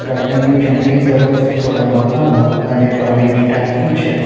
Garden ની જમણી તરફ થોડા મકાનો અને પાણીની ટાંકી છે.